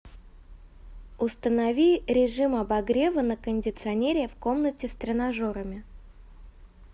установи режим обогрева на кондиционере в комнате с тренажерами